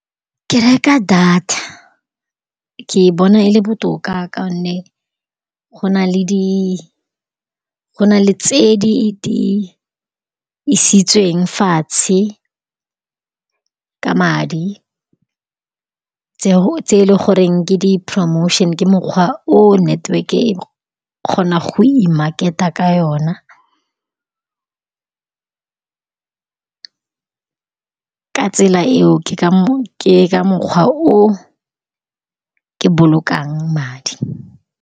Ke reka data, ke e bona e le botoka ka gonne gona le di, gona le tse di-di isitsweng fatshe ka madi, tseo tse e leng gore ke di-promotion-e. Ke mokgwa o network-e e kgonang go i-market-a ka yona, ka tsela eo ke ka . Ke ka mokgwa o ke bolokang madi.